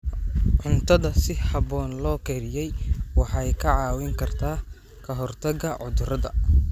Cuntada si habboon loo kariyey waxay kaa caawin kartaa ka hortagga cudurrada.